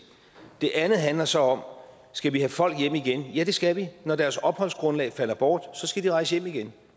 det andet handler så om skal vi have folk hjem igen ja det skal vi når deres opholdsgrundlag falder bort skal de rejse hjem igen